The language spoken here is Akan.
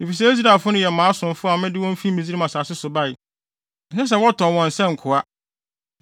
Efisɛ Israelfo no yɛ mʼasomfo a mede wɔn fi Misraim asase so bae; ɛnsɛ sɛ wɔtɔn wɔn sɛ nkoa.